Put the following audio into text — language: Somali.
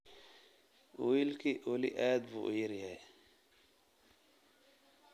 Wiilku weli aad buu u yar yahay